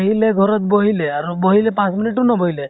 লে ঘৰত বহিলে আৰু বহিলে, পাঁচ minute তো নবহিলে